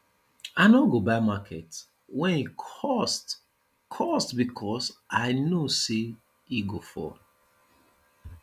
i no go buy market wen e cost cost because i know sey e go fall